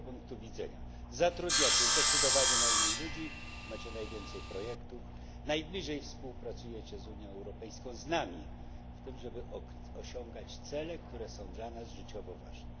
I z tego punktu widzenia zatrudniacie zdecydowanie najmniej ludzi, macie najwięcej projektów, najbliżej współpracujecie z Unią Europejską, z nami, w tym, żeby osiągać cele, które są dla nas życiowo ważne.